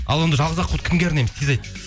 ал енді жалғыз аққуды кімге арнаймыз тез айт